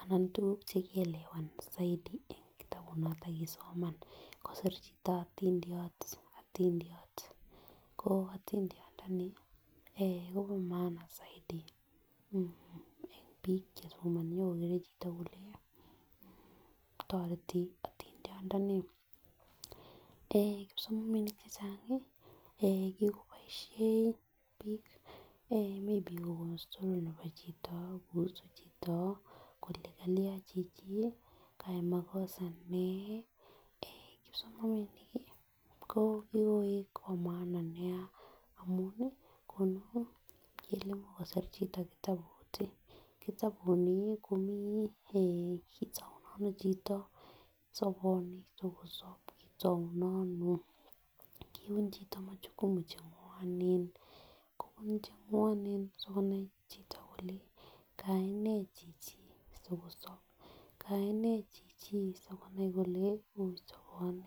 anan tukuk cheke elewan soidi en kitabut noton kisoman, kosir chito itindiot otindotiot ko itindiot ndoni eeh Kobo maana soidi eh bik chesomoni ak kogere chito kole toreti itindiot ndoni eeh kipsomaninik chechangi eh kikiboishen bik eeh maybe Kobos toron nebo chito kouse chito kole kalya chichi kayai makosa nee. Eeh kipsomaninik ki kikoik bo maana nia amuni konu ingele kokosir chito kitabut tii kitabu nii komii eeh kotou ndono chito soboni sikosob kitouno ono kobun chito machukumu chengwonen kobun chengwonen sikonai chito kole kayai nee chichi sikosob kayainee chichi sikonai kole ui soboni.